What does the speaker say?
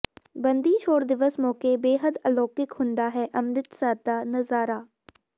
ਬੰਦੀ ਛੋੜ ਦਿਵਸ ਮੌਕੇ ਬੇਹੱਦ ਅਲੋਕਿਕ ਹੁੰਦਾ ਹੈ ਅੰਮ੍ਰਿਤਸਰ ਦਾ ਨਜ਼ਾਰਾ